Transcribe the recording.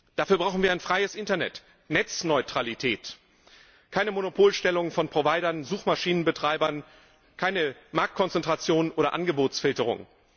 Dafür brauchen wir ein freies Internet, Netzneutralität, keine Monopolstellung von Providern, Suchmaschinenbetreibern, keine Marktkonzentration oder Angebotsfilterung.